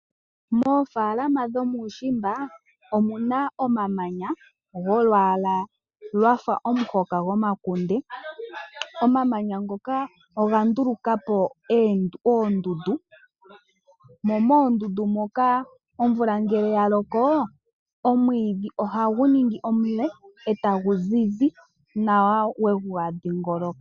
Moofaalama dhomuushiimba omuna omamanya golwaala lwafa omuhoka gwomakunde. Omamanya ngoka oga nduluka po oondundu, mo moondundu moka omvula ngele ya loko, omwiidhi ohagu ningi omule e ta gu zizi nawa we ga dhiingoloka.